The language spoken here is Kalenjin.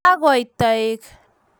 kakoit toek